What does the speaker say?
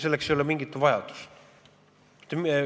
Selleks ei ole mingit vajadust.